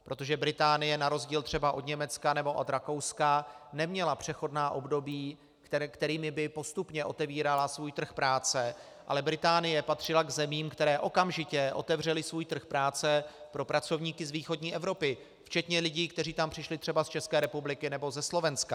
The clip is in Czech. Protože Británie na rozdíl třeba od Německa nebo od Rakouska neměla přechodná období, kterými by postupně otevírala svůj trh práce, ale Británie patřila k zemím, které okamžitě otevřely svůj trh práce pro pracovníky z východní Evropy, včetně lidí, kteří tam přišli třeba z České republiky nebo ze Slovenska.